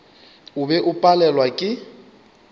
o be o palelwa ke